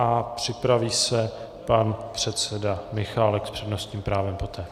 A připraví se pan předseda Michálek s přednostním právem poté.